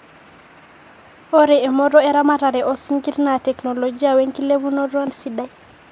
ore emooto eramatare oo sinkir naa teknologia we nkilepunoto sidai